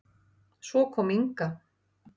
Svo kom Inga.